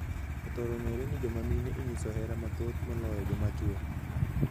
Othoro ng’eree ni joma mine inyiso hera mathoth moloyo joma chow.